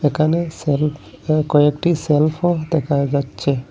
একানে সেলফ বা কয়েকটি সেলফও দেখা যাচ্চে।